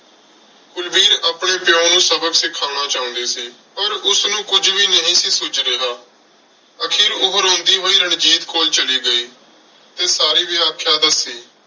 ਕੁਲਵੀਰ ਆਪਣੇ ਪਿਉ ਨੂੰ ਸਬਕ ਸਿਖਾਉਣਾ ਚਾਹੁੰਦੀ ਸੀ। ਪਰ ਉਸਨੂੰ ਕੁੱਝ ਵੀ ਨਹੀਂ ਸੀ ਸੁੱਝ ਰਿਹਾ। ਆਖਿਰ ਉਹ ਰੋਂਦੀ ਹੋਈ ਰਣਜੀਤ ਕੋਲ ਚਲੀ ਗਈ ਤੇ ਸਾਰੀ ਵਿਆਖਿਆ ਦੱਸੀ।